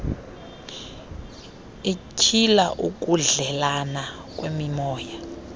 ityhila ukudleelana kwemimoya